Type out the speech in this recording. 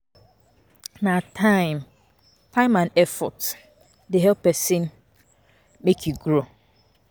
Na time time and effort dey help pesin make e grow.